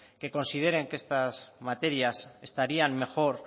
que consideren que estas materias estarían mejor